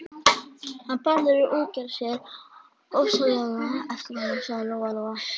Hann Bárður í útgerðinni sér ofsalega eftir honum, sagði Lóa Lóa.